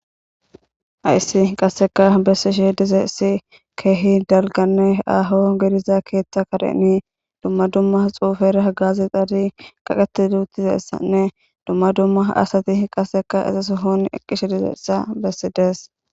hayssi qasseka bessi shih dizeessi keehi dalganne aaho geriza keeththa kadeni dumma dumma xuufer agazi xaadi qaqati duutizassanne dumma dumma asati qasseka izas hoon eqqishe dizeessa bessi dees